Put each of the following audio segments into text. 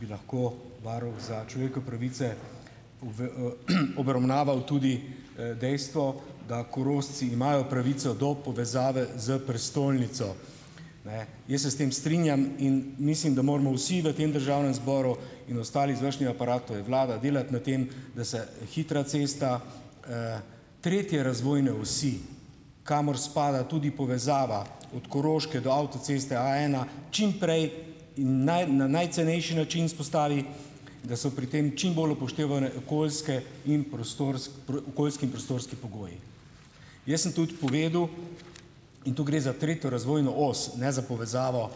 bi lahko varuh za pravice obravnaval tudi, dejstvo, da Korošci imajo pravico do povezave z prestolnico, ne. Jaz se s tem strinjam in mislim, da moramo vsi v tem državnem zboru in ostali ostali izvršni aparat, to je vlada, delati na tem, da se hitra cesta, tretje razvojne osi, kamor spada tudi povezava od Koroške do avtoceste A ena, čim prej in na najcenejši način vzpostavi, da so pri tem čim bolj upoštevane okoljske in okoljski in prostorski pogoji. Jaz sem tudi povedal, in to gre za tretje razvojno os, ne za povezavo,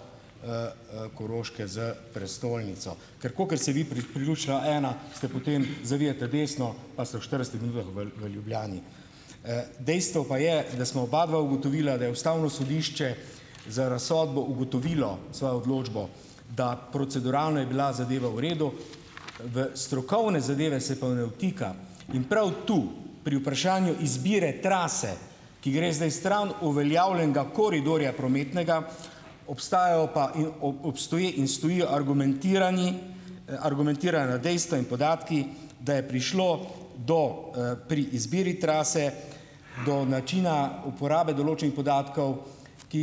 Koroške s prestolnico. Ker kakor se vi priključila A ena, ste potem , zavijete desno pa se v štiridesetih minutah v, v Ljubljani. dejstvo pa je, da smo obadva ugotovila, da je ustavno sodišče za razsodbo ugotovilo svojo odločbo, da proceduralno je bila zadeva v redu, v strokovne zadeve se pa ne vtika. In prav tu , pri vprašanju izbire trase, ki gre zdaj stran uveljavljenega koridorja prometnega, obstajajo pa in obstoji in stojijo argumentirani, argumentirana dejstva in podatki, da je prišlo do, pri izbiri trase, do načina uporabe določenih podatkov, ki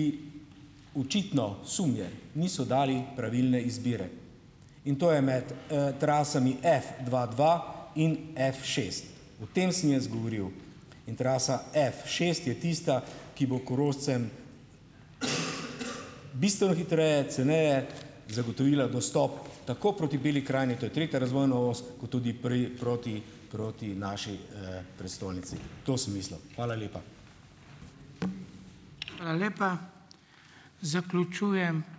očitno, sum je, niso dali pravilne izbire. In to je med, trasami F dva, dva in F šest. O tem sem jaz govoril. In trasa F šest je tista, ki bo Korošcem bistveno hitreje, ceneje zagotovila dostop tako proti Beli krajini, to je tretja razvojna os, kot tudi proti, proti naši, prestolnici. To sem mislil. Hvala lepa.